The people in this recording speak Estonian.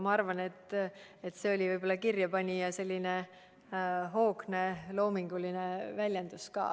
Ma arvan, et see oli võib-olla kirjapanija hoogne loominguline väljend.